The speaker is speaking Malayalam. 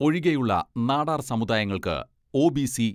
ഒഴികെയുള്ള നാടാർ സമുദായങ്ങൾക്ക് ഒ.ബി.സി.